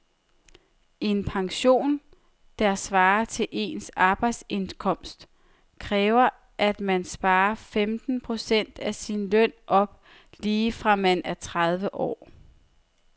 En pension, der svarer til ens arbejdsindkomst, kræver at man sparer femten procent af sin løn op lige fra man er tredive år.